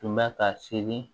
Tun bɛ ka seli